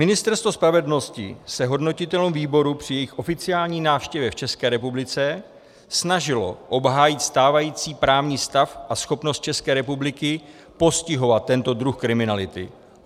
Ministerstvo spravedlnosti se hodnotitelům výboru při jejich oficiální návštěvě v České republice snažilo obhájit stávající právní stav a schopnost České republiky postihovat tento druh kriminality.